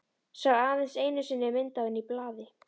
Sá aðeins einu sinni mynd af henni í blaði.